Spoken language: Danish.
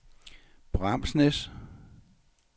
Bramsnæs